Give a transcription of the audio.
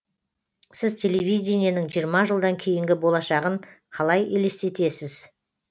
сіз телевидениенің жиырма жылдан кейінгі болашағын қалай елестетесіз